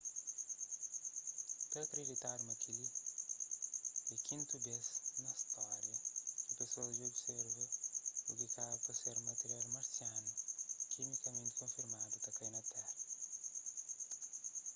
ta akriditadu ma kel-li é kintu bês na stória ki pesoas dja observa u ki kaba pa ser matirial marsianu kimikamenti konfirmadu ta kai na tera